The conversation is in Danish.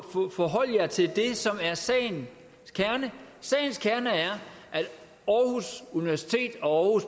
forholde jer til det som er sagen kerne sagens kerne er at aarhus universitet og